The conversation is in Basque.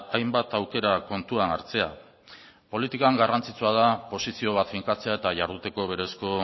hainbat aukera kontuan hartzea politikan garrantzitsua da posizio bat finkatzea eta jarduteko berezko